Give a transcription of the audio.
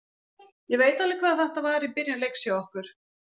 Ég veit alveg hvað þetta var í byrjun leiks hjá okkur.